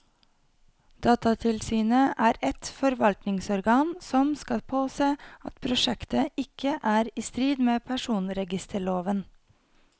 Datatilsynet er et forvaltningsorgan som skal påse at prosjektet ikke er i strid med personregisterloven.